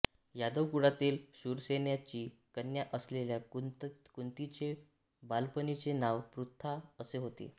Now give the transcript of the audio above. यादव कुळातील शूरसेनाची कन्या असलेल्या कुंतीचे बालपणीचे नाव पृथा असे होते